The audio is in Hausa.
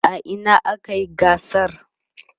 a Ina akayi gasar?